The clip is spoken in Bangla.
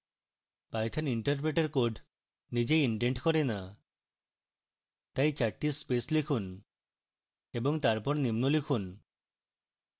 python interpreter code নিজেই indent করে the তাই চারটি স্পেস লিখুন এবং তারপর নিম্ন লিখুন